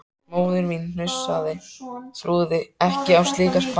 Móðir mín hnussaði, trúði ekki á slíkar spár.